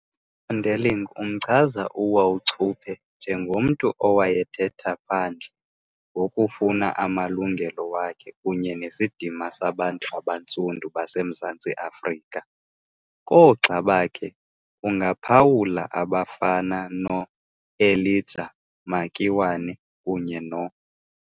USonderling umchaza uWauchope njengomntu, owayethetha phandle ngokufuna amalungelo wakhe kunye nesidima sabantu abantsundu baseMzantsi Afrika. Koogxa bakhe ungaphawula abafana no-Elijah Makiwane, kunye no.